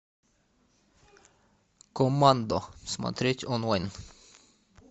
коммандо смотреть онлайн